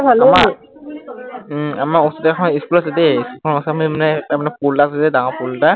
উম আমাৰ ওচৰতে এখন school আছে দেই, সেই ওচৰতেl তাৰমানে পুল এটা আছে দেই ডাঙৰ পুল এটা